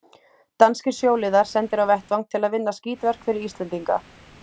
Danskir sjóliðar sendir á vettvang til að vinna skítverk fyrir Íslendinga.